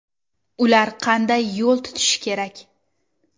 Ular qanday yo‘l tutishi kerak.